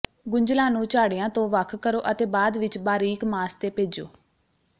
ਗੁੰਝਲਾਂ ਨੂੰ ਝਾੜੀਆਂ ਤੋਂ ਵੱਖ ਕਰੋ ਅਤੇ ਬਾਅਦ ਵਿਚ ਬਾਰੀਕ ਮਾਸ ਤੇ ਭੇਜੋ